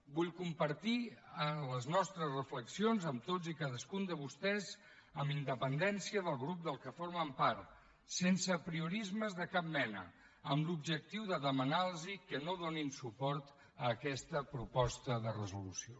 vull compartir les nostres reflexions amb tots i cadascun de vostès amb independència del grup de què formen part sense apriorismes de cap mena amb l’objectiu de demanar los que no donin suport a aquesta proposta de resolució